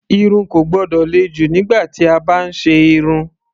Irun kò gbọ́dọ̀ le jù nígbà tí a bá ń ṣe irun.